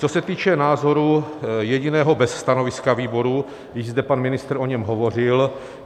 Co se týče návrhu, jediného bez stanoviska výboru, již zde pan ministr o něm hovořil.